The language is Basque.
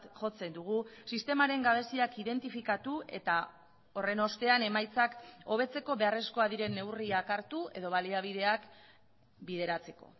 jotzen dugu sistemaren gabeziak identifikatu eta horren ostean emaitzak hobetzeko beharrezkoak diren neurriak hartu edo baliabideak bideratzeko